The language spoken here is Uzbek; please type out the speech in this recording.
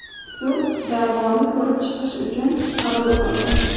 Sud da’voni ko‘rib chiqish uchun qabul qildi.